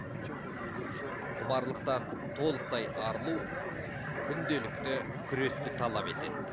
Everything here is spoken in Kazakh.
чем то завершенным құмарлықтан толықтай арылу күнделікті күресті талап етеді